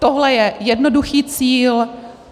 Tohle je jednoduchý cíl.